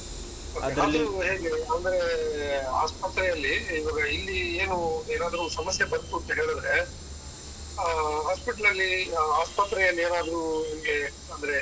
ಹೇಗೆ? ಅಂದ್ರೆ ಆಸ್ಪತ್ರೆಯಲ್ಲಿ, ಈವಾಗ ಇಲ್ಲಿ ಏನು ಏನಾದ್ರು ಸಮಸ್ಯೆ ಬಂತು ಅಂತ ಹೇಳಿದ್ರೆ, ಆ hospital ಲಲ್ಲಿ ಆ ಆಸ್ಪತ್ರೆಯಲ್ಲಿ ಏನಾದ್ರು ನಮ್ಗೆ ಅಂದ್ರೆ.